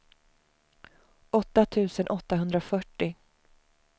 åtta tusen åttahundrafyrtio